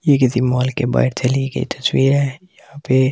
यह किसी मॉल के बाहर से ली गई तस्वीर है यहां पे ।